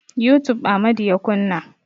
Youtube Amadu ya kunna.